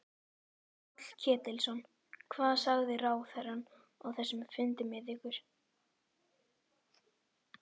Páll Ketilsson: Hvað sagði ráðherrann á þessum fundi með ykkur?